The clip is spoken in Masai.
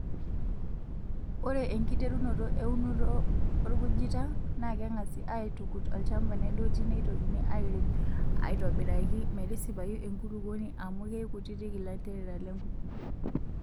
Ore enkiterunoto eunoto orkujita naa keng'asi aitukut olchampa nedoti neitokini airem aitobiraki metisipayu enkulupuoni amu keikutiti ilanterera lenkujita.